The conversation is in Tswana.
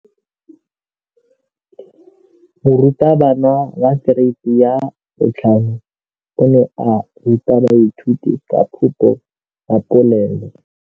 Moratabana wa kereiti ya 5 o ne a ruta baithuti ka popô ya polelô.